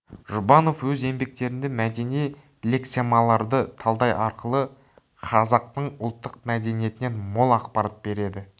жұбанов өз еңбектерінде мәдени лексемаларды талдау арқылы қазақтың ұлттық мәдениетінен мол ақпарат береді